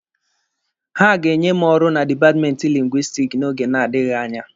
Ha ga-enye m ọrụ na dipatmenti Lingwisitiki n'oge na-adịghị anya.